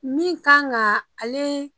Min kan ga ale